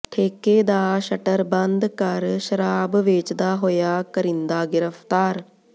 ਠੇਕੇ ਦਾ ਸ਼ਟਰ ਬੰਦ ਕਰ ਸ਼ਰਾਬ ਵੇਚਦਾ ਹੋਇਆ ਕਰਿੰਦਾ ਗ੍ਰਿਫਤਾਰ